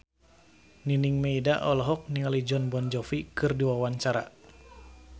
Nining Meida olohok ningali Jon Bon Jovi keur diwawancara